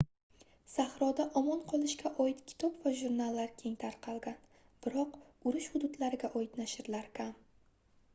sahroda omon qolishga oid kitob va jurnallar keng tarqalgan biroq urush hududlariga oid nashrlar kam